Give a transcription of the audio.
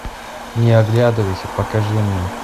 не оглядывайся покажи мне